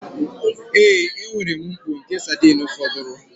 Ee, enwere m mkpọ nke sardine fọdụrụ